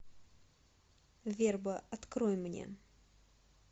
верба открой мне